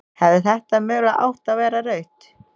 Hefði þetta mögulega átt að vera rautt?